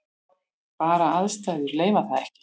Bara aðstæður leyfa það ekki.